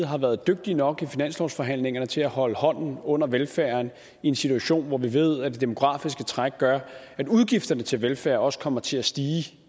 har været dygtig nok i finanslovsforhandlingerne til at holde hånden under velfærden i en situation hvor vi ved at det demografiske træk gør at udgifterne til velfærden også kommer til at stige